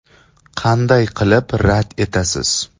Qanday qilib rad etasiz?